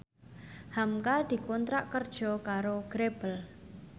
hamka dikontrak kerja karo Grebel